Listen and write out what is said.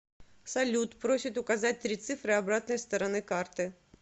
салют просит указать три цифры обратной стороны карты